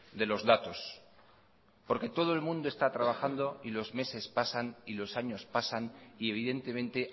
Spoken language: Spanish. de los datos porque todo el mundo está trabajando y los meses pasan y los años pasan y evidentemente